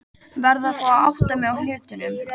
Verð að fá að átta mig á hlutunum.